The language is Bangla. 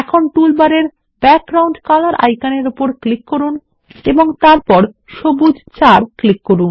এখন টুলবারের ব্যাকগ্রাউন্ড কলর আইকনের উপর ক্লিক করুন এবং তারপর সবুজ 4 ক্লিক করুন